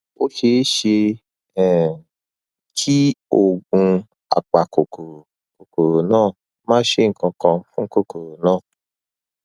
ó ṣeé ṣe um kí oògùn apakòkòrò kòkòrò náà má ṣe nǹkankan fún kòkòrò náà